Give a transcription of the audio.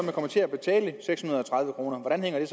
kommer til at betale seks hundrede og tredive kroner hvordan hænger